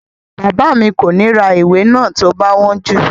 Bàbá mi kò ní ra ìwé náà tí ó bá wọ́n jù